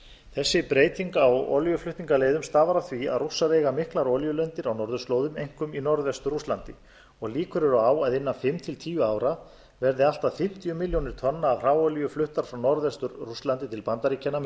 þessi breyting á olíuflutningaleiðum stafar af því að rússar eiga miklar olíulindir á norðurslóðum einkum í norðvestur rússlandi og líkur eru á að innan fimm til tíu ára verði allt að fimmtíu milljónir tonna af hráolíu fluttar frá norðvestur rússlandi til bandaríkjanna með